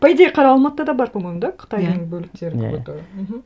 по идее қара алматыда да бар по моему да иә қытайдың бөлектері какой то иә мхм